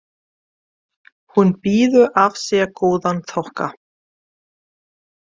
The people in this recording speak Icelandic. Hún býður af sér góðan þokka.